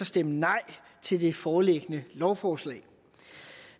stemme nej til det foreliggende lovforslag